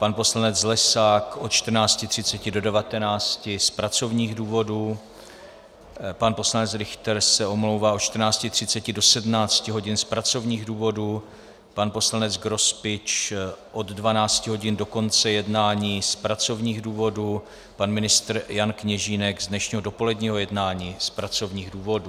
Pan poslanec Lesák od 14.30 do 19.00 z pracovních důvodů, pan poslanec Richter se omlouvá od 14.30 do 17.00 hodin z pracovních důvodů, pan poslanec Grospič od 12.00 hodin do konce jednání z pracovních důvodů, pan ministr Jan Kněžínek z dnešního dopoledního jednání z pracovních důvodů.